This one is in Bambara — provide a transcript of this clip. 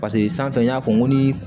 Paseke sanfɛ n y'a fɔ n ko ni